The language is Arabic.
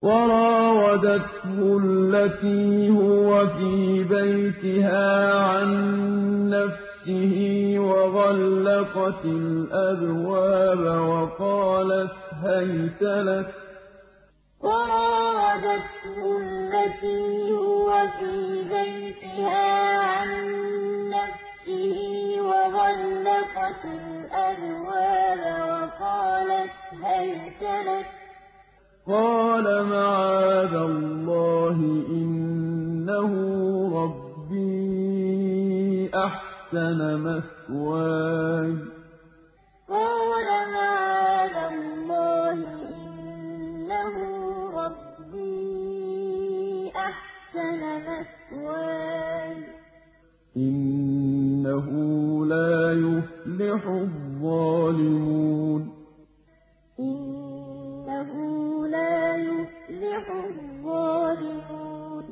وَرَاوَدَتْهُ الَّتِي هُوَ فِي بَيْتِهَا عَن نَّفْسِهِ وَغَلَّقَتِ الْأَبْوَابَ وَقَالَتْ هَيْتَ لَكَ ۚ قَالَ مَعَاذَ اللَّهِ ۖ إِنَّهُ رَبِّي أَحْسَنَ مَثْوَايَ ۖ إِنَّهُ لَا يُفْلِحُ الظَّالِمُونَ وَرَاوَدَتْهُ الَّتِي هُوَ فِي بَيْتِهَا عَن نَّفْسِهِ وَغَلَّقَتِ الْأَبْوَابَ وَقَالَتْ هَيْتَ لَكَ ۚ قَالَ مَعَاذَ اللَّهِ ۖ إِنَّهُ رَبِّي أَحْسَنَ مَثْوَايَ ۖ إِنَّهُ لَا يُفْلِحُ الظَّالِمُونَ